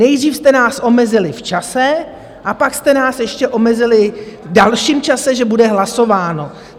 Nejdřív jste nás omezili v čase a pak jste nás ještě omezili v dalším čase, že bude hlasováno.